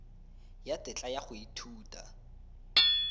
ya tetla ya go ithuta